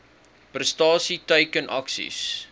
prestasie teiken aksies